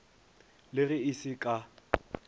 le ge e se ka